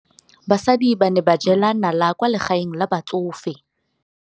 Basadi ba ne ba jela nala kwaa legaeng la batsofe.